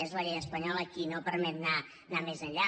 és la llei espanyola qui no permet anar més enllà